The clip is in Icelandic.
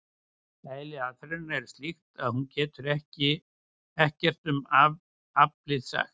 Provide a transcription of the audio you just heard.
Eðli aðferðarinnar er slíkt að hún getur ekkert um aflið sagt.